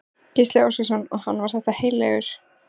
Gísli Óskarsson: Og hann var þetta heillegur?